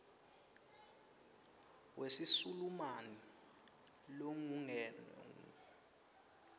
wesisulumani lokungenwe kuwo